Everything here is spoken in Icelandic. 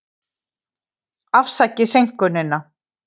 Afsakið seinkunina.